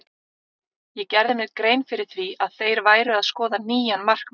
Ég gerði mér grein fyrir því að þeir væru að skoða nýjan markmann.